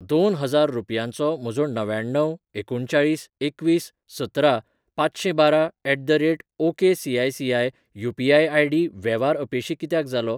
दोन हजार रुपयांचो म्हजो णव्याण्णव एकुणचाळीस एकवीस सतरा पांचशेंबारा ऍट द रेट ओकेसीायसीआय यू.पी.आय. आय.डी वेव्हार अपेशी कित्याक जालो?